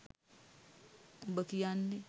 උබ කියන්නෙ